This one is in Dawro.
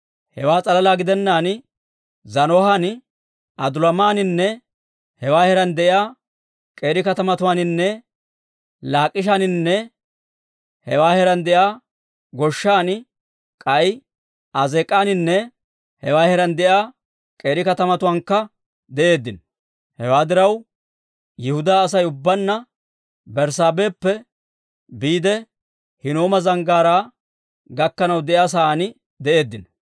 Hewaa s'alalaa gidennaan Zaanohan, Adulaamaninne hewaa heeraan de'iyaa k'eeri katamatuwaaninne Laakishaaninne hewaa heeraan de'iyaa goshshan, k'ay Azeek'aaninne hewaa heeraan de'iyaa k'eeri katamatuwaankka de'eeddino. Hewaa diraw, Yihudaa Asay ubbaanna Berssaabeheppe biide, Hinnooma Zanggaaraa gakkanaw de'iyaa sa'aan de'eeddino.